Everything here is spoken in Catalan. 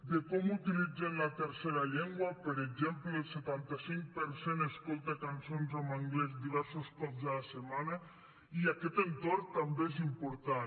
de com utilitzen la tercera llengua per exemple el setanta cinc per cent escolta cançons en anglès diversos cops a la setmana i aquest entorn també és important